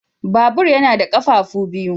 Babur yana da ƙafafu biyu.